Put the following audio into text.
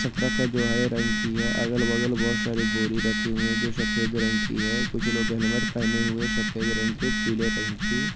चतरा का है जो हरे रंग की हैअगल बगल बहुत सारी बोरी रखे हुई है जो बाकी रंग की है कुछ लोग हेलमेट पहने है सफ़ेद रंग की और पीले रंग की--